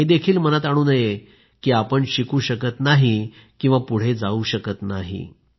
आपण हे देखील मनात आणू नये की आपण शिकू शकत नाही किंवा पुढे जाऊ शकत नाही